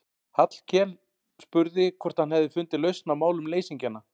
Hallkel og spurði hvort hann hefði fundið lausn á málum leysingjanna.